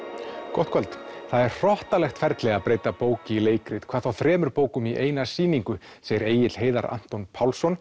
gott kvöld það er hrottalegt ferli að breyta bók í leikrit hvað þá þremur bókum í eina sýningu segir Egill Heiðar Anton Pálsson